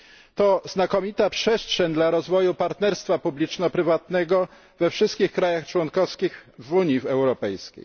To znakomita przestrzeń dla rozwoju partnerstwa publiczno prywatnego we wszystkich państwach członkowskich Unii Europejskiej.